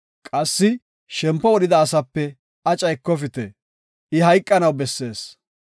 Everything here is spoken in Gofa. Qassi shempo wodhida asape aca ekofite; I hayqanaw bessees.